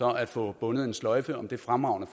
at få bundet en sløjfe om det fremragende